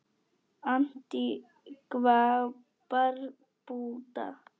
Antígva og Barbúda